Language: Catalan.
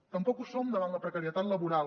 tampoc ho som davant la precarietat laboral